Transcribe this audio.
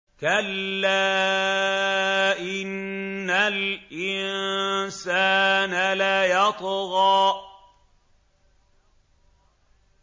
كَلَّا إِنَّ الْإِنسَانَ لَيَطْغَىٰ